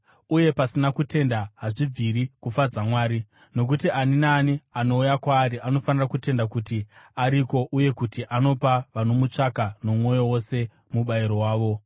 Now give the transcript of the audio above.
Uye pasina kutenda hazvibviri kufadza Mwari, nokuti ani naani anouya kwaari anofanira kutenda kuti ariko uye kuti anopa vanomutsvaka nomwoyo wose mubayiro wavo.